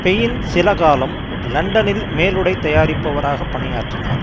pain சிலகாலம் லண்டனில் மேலுடை தயாரிப்பவராக பணியாற்றினார்